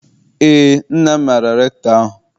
Eé, nna m maara rektọ ahụ.